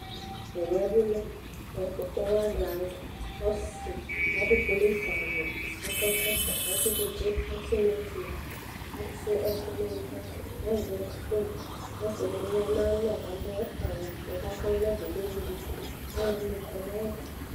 Tɛɛ yɛ bilɛ ɔkpɔ ɔkpɔha dʋ alʋ ɔsidi adʋ polisawʋ akɔ ekɔtɔ, atʋ tsitsi, atʋ niwsnat, asuia ɛkʋ nʋ ʋwɔ, azɛ fon, ɔsidibi yanʋ ayʋ alɔ kʋ adʋ awʋvɛ kʋ ɔvlɛvɛ kʋ ɛwʋ duku, alʋɛdini kɔnʋ ayʋ ɛtʋ